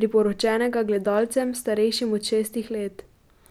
priporočenega gledalcem, starejšim od šestih let.